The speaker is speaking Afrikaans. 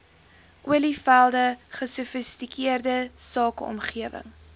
olievelde gesofistikeerde sakeomgewing